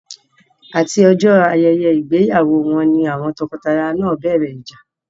Àti ọjọ́ ayẹyẹ ìgbéyàwó wọn ni àwọn tọkọtaya náà bẹ̀rẹ̀ ìjà.